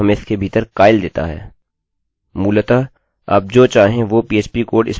मूलतः आप जो चाहें वो phpपीएचपी कोड इसमें लागू कर सकते हैं